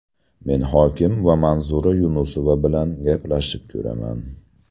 Men hokim va Manzura Yunusova bilan gaplashib ko‘raman.